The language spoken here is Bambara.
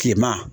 Kilema